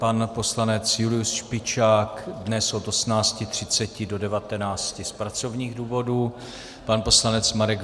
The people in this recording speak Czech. Pan poslanec Julius Špičák dnes od 18.30 do 19 z pracovních důvodů, pan poslanec Marek